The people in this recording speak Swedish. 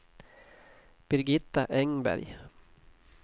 Birgitta Engberg